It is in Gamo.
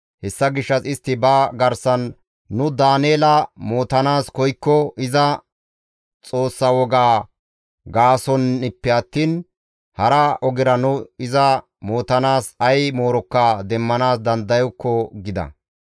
Hessa gishshas istti ba garsan, «Nu Daaneela mootanaas koykko iza Xoossaa woga gaasonppe attiin hara ogera nu iza mootanaas ay moorokka demmanaas dandayokko» gida.